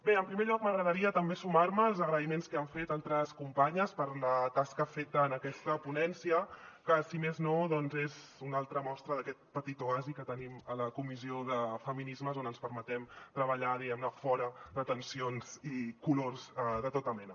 bé en primer lloc m’agradaria també sumar me als agraïments que han fet altres companyes per la tasca feta en aquesta ponència que si més no doncs és una altra mostra d’aquest petit oasi que tenim a la comissió de feminismes on ens permetem treballar diguem ne fora de tensions i colors de tota mena